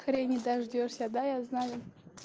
хрени дождёшься да я знаю